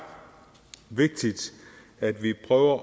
vigtigt at vi prøver